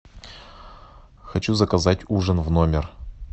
хочу заказать ужин в номер